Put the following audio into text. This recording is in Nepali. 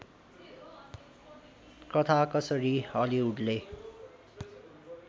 कथा कसरी हलिउडले